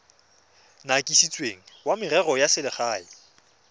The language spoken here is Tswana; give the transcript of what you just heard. kanisitsweng wa merero ya selegae